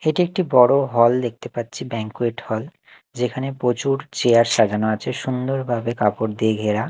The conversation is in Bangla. এটি একটি বড় হল দেখতে পাচ্ছি ব্যাঙ্কুয়েট হল যেখানে প্রচুর চেয়ার সাজানো আছে সুন্দর ভাবে কাপড় দিয়ে ঘেরা।